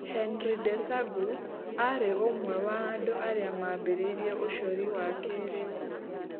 Henry Desagu aarĩ ũmwe wa andũ arĩa maambĩrĩirie ũcori wa kĩĩrĩu.